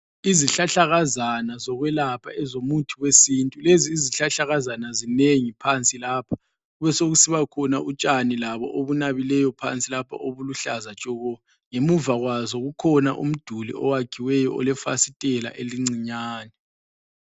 Izihlahlakazana zokwelapha ezomuthi wesintu ,lezi izihlahlakazana zinengi phansi lapha kube sokusiba khona utshani labo obunabileyo lapha obuluhlaza tshoko .Ngemuva kwazo kukhona umduli oyakhiweyo olefasitela elincinyane